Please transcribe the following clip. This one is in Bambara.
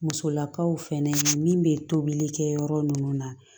Musolakaw fɛnɛ min bɛ tobili kɛ yɔrɔ nunnu na